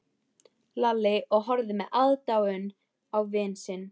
Lalli og horfði með aðdáun á vin sinn.